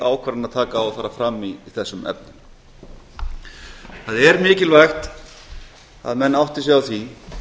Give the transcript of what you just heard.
ákvarðanataka á að fara fram í þessum efnum það er mikilvægt að menn átti sig á því